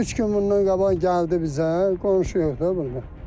Üç gün bundan qabaq gəldi bizə, qonşu yox da burda.